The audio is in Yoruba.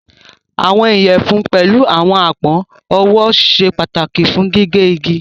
Àwọn iyẹfun pẹ̀lú àwọn apọn ọwọ sẹ pataki fún gígẹ̀ igi.